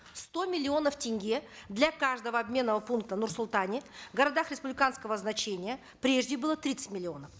сто миллионов тенге для каждого обменного пункта в нур султане городах республиканского значения прежде было тридцать миллионов